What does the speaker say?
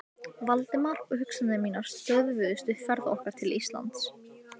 Heimir: Reynið að vera duglegri?